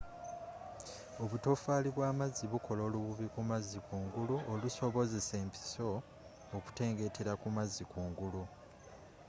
obutofaali bw'amazzi bukola olububi kumazzi kungulu olusobozesa empiso okutengeetera kumazzi kungulu